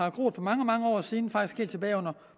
at gro for mange mange år siden faktisk helt tilbage under